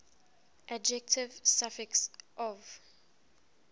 adjective suffix ov